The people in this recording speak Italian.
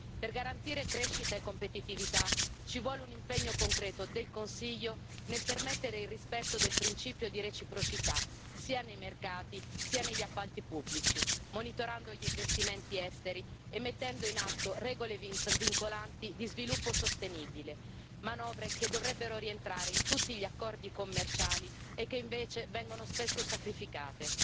Per garantire crescita e competitività ci vuole un impegno concreto del Consiglio nel permettere il rispetto del principio di reciprocità, sia nei mercati sia negli appalti pubblici, monitorando gli investimenti esteri e mettendo in atto regole vincolanti di sviluppo sostenibile, manovre che dovrebbero rientrare in tutti gli accordi commerciali e che invece vengono spesso sacrificate.